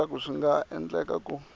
leswaku swi nga endleka ku